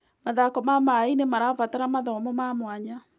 Mathako ma maĩ-inĩ marabatara mathomo ma mwanya.